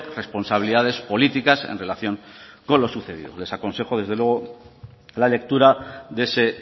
responsabilidades políticas en relación con lo sucedido les aconsejo desde luego la lectura de ese